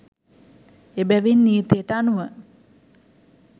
එබැවින් නීතියට අනුව